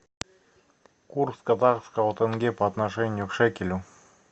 курс казахского тенге по отношению к шекелю